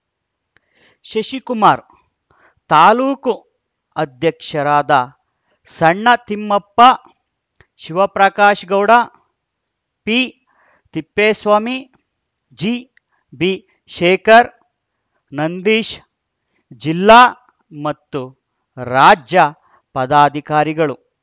ಶಶಿಕುಮಾರ್‌ ತಾಲೂಕು ಅಧ್ಯಕ್ಷರಾದ ಸಣ್ಣತಿಮ್ಮಪ್ಪ ಶಿವಪ್ರಕಾಶ್‌ಗೌಡ ಪಿತಿಪ್ಪೇಸ್ವಾಮಿ ಜಿಬಿಶೇಖರ್‌ ನಂದೀಶ್‌ ಜಿಲ್ಲಾ ಮತ್ತು ರಾಜ್ಯ ಪದಾಧಿಕಾರಿಗಳು